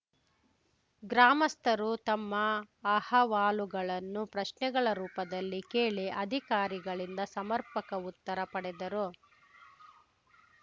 ಗ್ರಾಮಸ್ಥರು ತಮ್ಮ ಅಹವಾಲುಗಳನ್ನು ಪ್ರಶ್ನೆಗಳ ರೂಪದಲ್ಲಿ ಕೇಳಿ ಅಧಿಕಾರಿಗಳಿಂದ ಸಮರ್ಪಕ ಉತ್ತರ ಪಡೆದರು